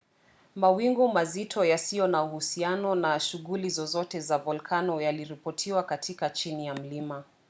mawingu mazito yasiyo na uhusiano na shughuli zozote za volkano yaliripotiwa katika chini ya mlima